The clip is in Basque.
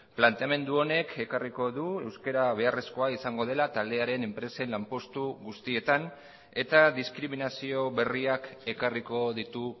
planteamendu honek ekarriko du euskara beharrezkoa izango dela taldearen enpresen lanpostu guztietan eta diskriminazio berriak ekarriko ditu